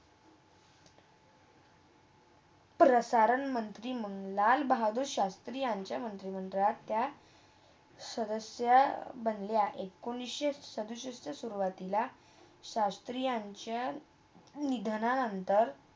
प्रसारण मंत्री मंडळात, बहादूर शास्त्री यांच्या मंत्री मंडळात त्या सदस्य बनले आहेत. एकोणीसशे सदुसष्टला सुरवातीला शास्त्री यांच्या निघाल्या नंतर